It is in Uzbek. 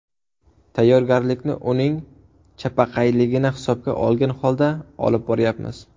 Tayyorgarlikni uning chapaqayligini hisobga olgan holda olib boryapmiz.